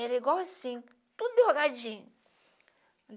Ela é igualzim, toda enrugadim.